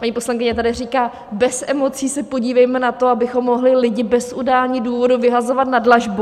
Paní poslankyně tady říká: Bez emocí se podívejme na to, abychom mohli lidi bez udání důvodu vyhazovat na dlažbu.